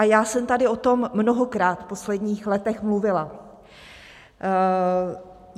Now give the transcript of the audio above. A já jsem tady o tom mnohokrát v posledních letech mluvila.